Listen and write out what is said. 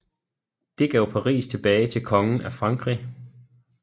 Det gav Paris tilbage til kongen af Frankrig